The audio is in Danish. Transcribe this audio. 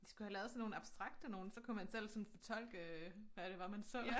De skulle have lavet sådan nogle abstrakte nogle så kunne man sådan fortolke hvad det var man så